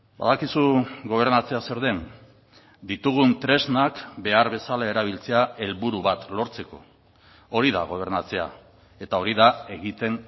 badakizu gobernatzea zer den ditugun tresnak behar bezala erabiltzea helburu bat lortzeko hori da gobernatzea eta hori da egiten